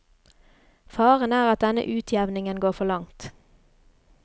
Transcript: Faren er at denne utjevningen går for langt.